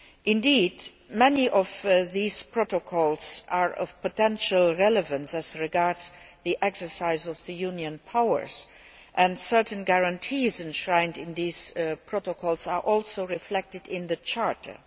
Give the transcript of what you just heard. Indeed, many of these protocols are of potential relevance as regards the exercise of the Union's powers, and certain guarantees enshrined in these protocols are also reflected in the Charter.